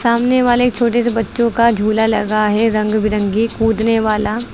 सामने वाले छोटे से बच्चों का झूला लगा है रंग बिरंगी कूदने वाला।